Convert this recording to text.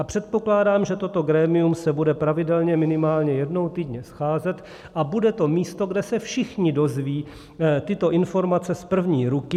A předpokládám, že toto grémium se bude pravidelně, minimálně jednou týdně scházet a bude to místo, kde se všichni dozvědí tyto informace z první ruky.